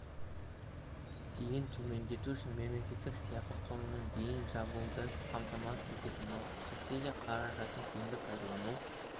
дейін төмендету үшін мемлекет сыйақы құнының дейін жабуды қамтамасыз ететін болады субсидия қаражатын тиімді пайдалану